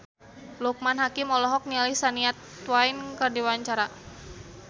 Loekman Hakim olohok ningali Shania Twain keur diwawancara